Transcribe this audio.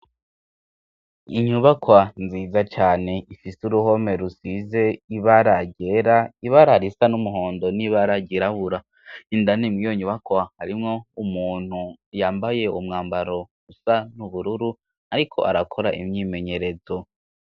inyubakwa nziza cyane ifise uruhome rusize ibara ryera ibara risa n'umuhondo n'ibara ryirabura indani mwiyo nyubakwa harimwo umuntu yambaye umwambaro usa n'ubururu ariko arakora imyimenyerezo